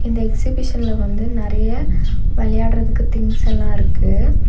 இந்த எக்ஸிபிஷன்ல வந்து நெறைய வெளையாட்றதுக்கு திங்ஸ் எல்லா இருக்கு.